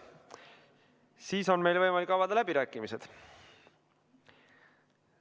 Siis on meil võimalik avada läbirääkimised.